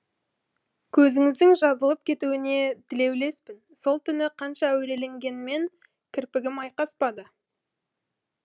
көзіңіздің жазылып кетуіне тілеулеспін сол түні қанша әуреленгеніммен кірпігім айқаспады